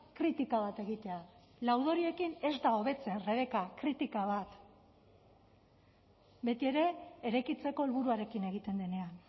kritika bat egitea laudoriokin ez da hobetzen rebeka kritika bat betiere eraikitzeko helburuarekin egiten denean